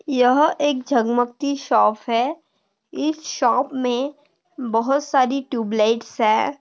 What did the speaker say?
यह एक झगमगती शॉप है इस शॉप में बहुत सारी ट्यूब लाइट्स है।